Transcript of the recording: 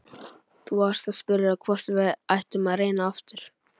Þú varst að spyrja hvort við ættum að reyna aftur.